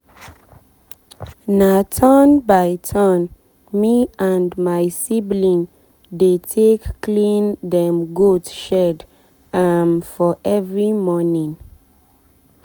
na turn by turn me and my sibling dey take clean dem goat shed um for every morning.